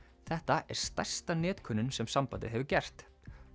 þetta er stærsta netkönnun sem sambandið hefur gert